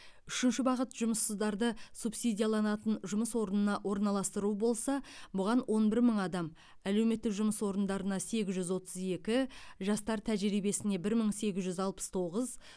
үшінші бағыт жұмыссыздарды субсидияланатын жұмыс орнына орналастыру болса бұған он бір мың адам әлеуметтік жұмыс орындарына сегіз жүз отыз екі жастар тәжірибесіне бір мың сегіз жүз алпыс тоғыз